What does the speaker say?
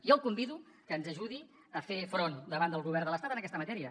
jo el convido que ens ajudi a fer front davant del govern de l’estat en aquesta matèria